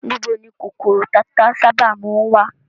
Níbo ni kòkòrò tata sábà má ń wà?